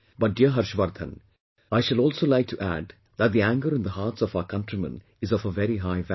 But, dear Harshvardhan, I shall also like to add that the anger in the hearts of our countrymen is of a very high value